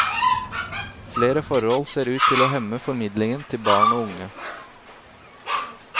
Flere forhold ser ut til å hemme formidlingen til barn og unge.